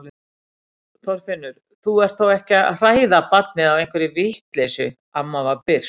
Þorfinnur, þú ert þó ekki að hræða barnið á einhverri vitleysu amma var byrst.